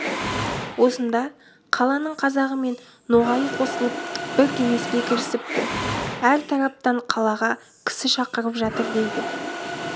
осында қаланың қазағы мен ноғайы қосылып бір кеңеске кірісіпті әр тараптан қалаға кісі шақырып жатыр дейді